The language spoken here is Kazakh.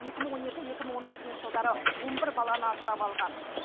екі мың он екі екі мың он алтыншы жылдары он бір баланы асырап алған